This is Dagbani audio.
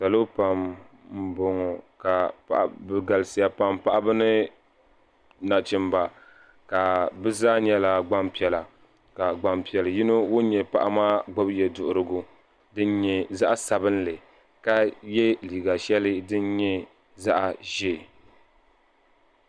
salo pam n boŋo bi galisiya pam paɣaba ni nachimba bi zaa nyɛla gbanpiɛla ka gbanpiɛli yino ŋun nyɛ paɣa maa gbubi yɛduɣurigu din nyɛ zaɣ sabinli ka yɛ liiga shɛli din nyɛ zaɣ ʒiɛ